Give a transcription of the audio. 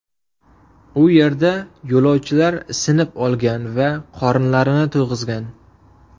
U yerda yo‘lovchilar isinib olgan va qorinlarini to‘yg‘izgan.